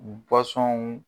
.